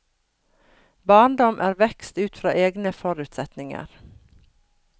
Barndom er vekst ut fra egne forutsetninger.